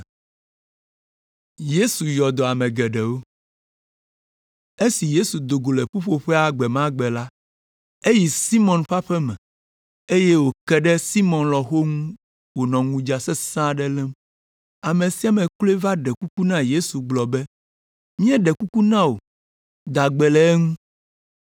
Esi Yesu do go le ƒuƒoƒea gbe ma gbe la, eyi Simɔn ƒe aƒe me, eye wòke ɖe Simɔn lɔ̃xo ŋu wònɔ ŋudza sesẽ aɖe lém. Ame sia ame kloe va ɖe kuku na Yesu gblɔ be, “Míeɖe kuku na wò da gbe le eŋu.”